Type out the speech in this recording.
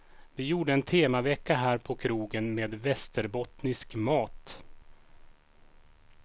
Vi gjorde en temavecka här på krogen med västerbottnisk mat.